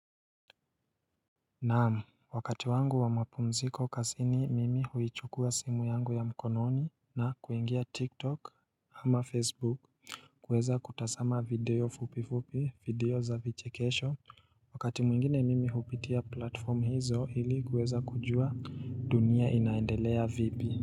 Naam, wakati wangu wa mapumziko kazini mimi huichukua simu yangu ya mkononi na kuingia TikTok ama Facebook kueza kutazama video fupi fupi video za vichekesho wakati mwingine mimi hupitia platform hizo ili kueza kujua dunia inaendelea vipi.